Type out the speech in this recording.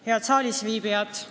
Head saalis viibijad!